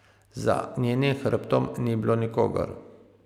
Za njenim hrbtom ni bilo nikogar.